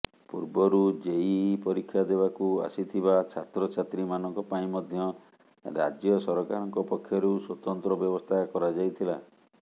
ପୂର୍ବରୁ ଜେଇଇ ପରୀକ୍ଷା ଦେବାକୁ ଆସିଥିବା ଛାତ୍ରଛାତ୍ରୀମାନଙ୍କ ପାଇଁ ମଧ୍ୟ ରାଜ୍ୟ ସରକାରଙ୍କ ପକ୍ଷରୁ ସ୍ୱତନ୍ତ୍ର ବ୍ୟବସ୍ଥା କରାଯାଇଥିଲା